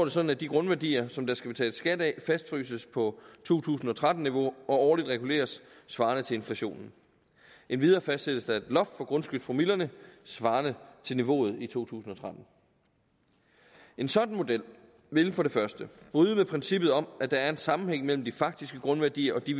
sådan at de grundværdier som der skal betales skat af fastfryses på to tusind og tretten niveau og årligt reguleres svarende til inflationen endvidere fastsættes der et loft for grundskyldspromillerne svarende til niveauet i to tusind og tretten en sådan model ville for det første bryde med princippet om at der er en sammenhæng mellem de faktiske grundværdier og de